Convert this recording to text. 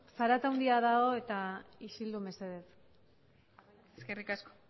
zarata handia dago eta isildu mesedez eskerrik asko